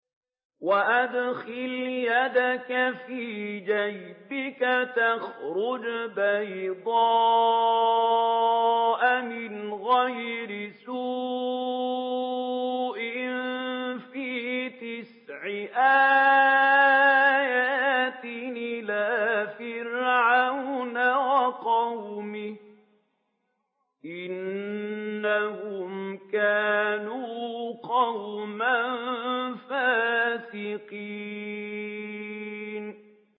وَأَدْخِلْ يَدَكَ فِي جَيْبِكَ تَخْرُجْ بَيْضَاءَ مِنْ غَيْرِ سُوءٍ ۖ فِي تِسْعِ آيَاتٍ إِلَىٰ فِرْعَوْنَ وَقَوْمِهِ ۚ إِنَّهُمْ كَانُوا قَوْمًا فَاسِقِينَ